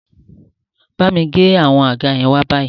Bámi gbé àwọn àga yẹn wá báyìí